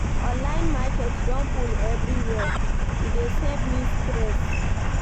Online market don full everywhere o, e dey save me stress.